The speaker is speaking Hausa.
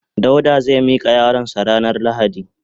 Dauda zai mika yaron sa ranan lahadi.